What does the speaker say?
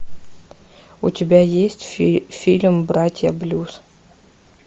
у тебя есть фильм братья блюз